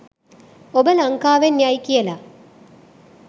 “ඔබ ලංකාවෙන් යයි ” කියලා.